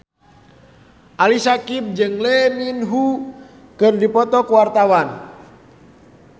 Ali Syakieb jeung Lee Min Ho keur dipoto ku wartawan